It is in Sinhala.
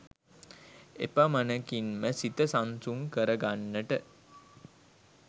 එපමණකින්ම සිත සංසුන් කරගන්ට